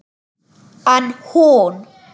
En hún.